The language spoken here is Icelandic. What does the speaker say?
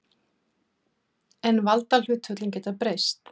En valdahlutföllin geta breyst.